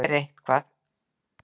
Ég geri eitthvað.